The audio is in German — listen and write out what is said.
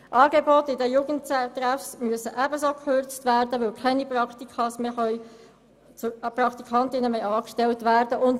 Angebote in den Jugendtreffs müssen ebenso gekürzt werden, weil keine Praktikantinnen und Praktikanten mehr angestellt werden können.